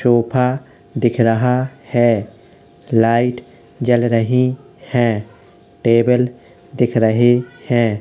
चोफा दिख रहा है| लाइट जल रही है| टेबल दिख रही है|